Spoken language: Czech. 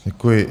Děkuji.